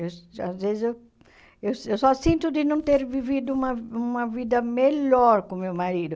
Eu às vezes, eu eu eu só sinto de não ter vivido uma uma vida melhor com o meu marido.